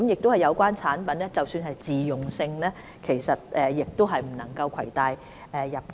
即使有關產品屬自用性質，也不獲准攜帶入境。